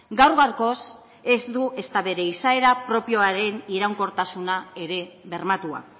gaur gaurkoz ez du ezta bere izaera propioaren iraunkortasuna ere bermatua